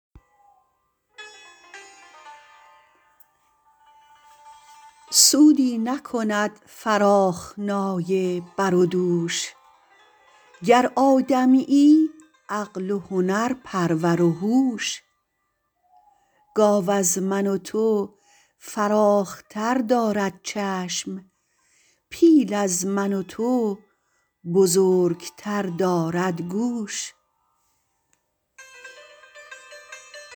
سودی نکند فراخنای بر و دوش گر آدمیی عقل و هنرپرور و هوش گاو از من و تو فراختر دارد چشم پیل از من و تو بزرگتر دارد گوش